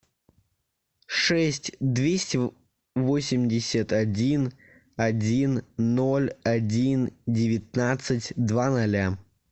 шесть двести восемьдесят один один ноль один девятнадцать два ноля